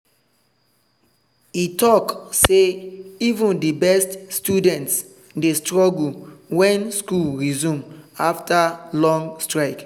e talk say even the best students dey struggle when school resume after long strike.